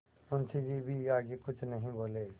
मुंशी जी भी आगे कुछ नहीं बोले